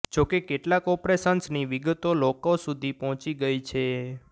જોકે કેટલાક ઓપરેશન્સની વિગતો લોકો સુધી પહોંચી ગઇ છે